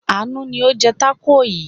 Àánú ni ó ń jẹ tákò yìí.